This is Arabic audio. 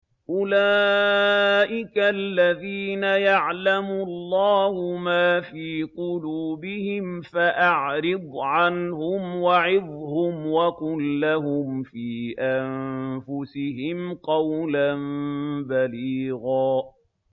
أُولَٰئِكَ الَّذِينَ يَعْلَمُ اللَّهُ مَا فِي قُلُوبِهِمْ فَأَعْرِضْ عَنْهُمْ وَعِظْهُمْ وَقُل لَّهُمْ فِي أَنفُسِهِمْ قَوْلًا بَلِيغًا